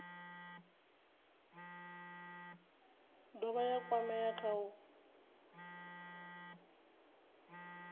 dovha ya kwamea kha u